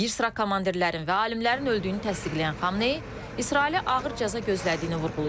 Bir sıra komandirlərin və alimlərin öldüyünü təsdiqləyən Xameneyi İsraili ağır cəza gözlədiyini vurğulayıb.